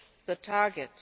reach their target.